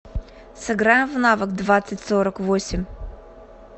сыграем в навык двадцать сорок восемь